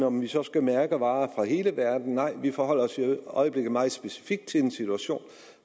om vi så skal mærke varer fra hele verden nej vi forholder os i øjeblikket meget specifikt til en situation